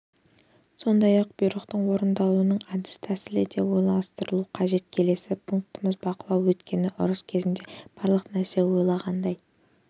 сондай-ақ бұйрықтың орындалуының әдіс-тәсілі де ойластырылуы қажет келесі пунктіміз бақылау өйткені ұрыс кезінде барлық нәрсе ойлағандай